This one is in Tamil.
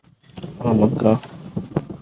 ஆமா அக்கா